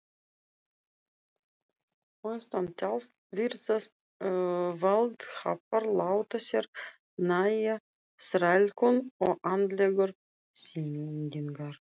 Austantjalds virðast valdhafar láta sér nægja þrælkun og andlegar pyndingar.